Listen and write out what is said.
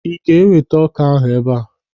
Ị ga-eweta ọ́kà ahụ ebe a.